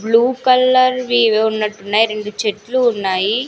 Blue colour వి ఏవో ఉన్నట్టు ఉన్నయి రెండు చెట్లు ఉన్నాయి.